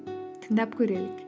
тыңдап көрелік